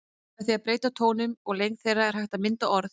Með því að breyta tónum og lengd þeirra er hægt að mynda orð.